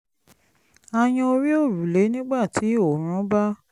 a yan orí òrùlé nígbà tí oòrùn bá